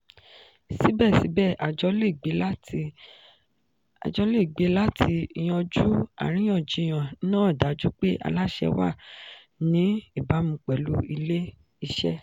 síbẹ̀síbẹ̀ àjọ le gbé láti yanju àríyànjiyàn náà dájú pé aláṣẹ wà ní ìbámu pẹ̀lú ilé-iṣẹ́.